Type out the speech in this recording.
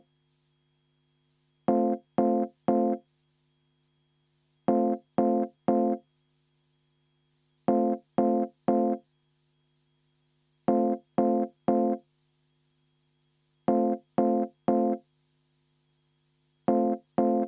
Seetõttu ma palun kümme minutit vaheaega.